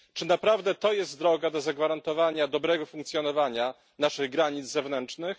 Czy naprawdę to jest droga do zagwarantowania dobrego funkcjonowania naszych granic zewnętrznych?